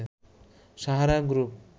Sahara group